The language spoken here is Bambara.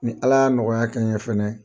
Ni Ala y'a nɔgɔya kɛ n ye fɛnɛ